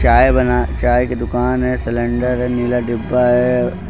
चाय बना चाय की दुकान है सिलेंडर है नीला डब्बा है।